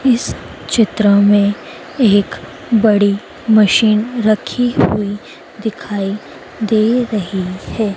इस चित्र में एक बड़ी मशीन रखी हुई दिखाई दे रहीं हैं।